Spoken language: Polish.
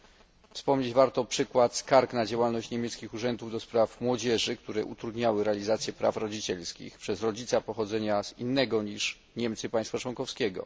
Warto jest wspomnieć przykład skarg na działalność niemieckich urzędów do spraw młodzieży, które utrudniały realizację praw rodzicielskich przez rodzica pochodzącego z innego niż Niemcy państwa członkowskiego.